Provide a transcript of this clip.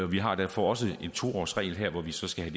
vi har derfor også en to årsregel her hvor vi så skal